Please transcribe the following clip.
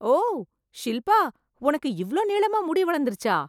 ஓ, ஷில்பா உனக்கு இவ்ளோ நீளமா முடி வளர்ந்துடுச்சா!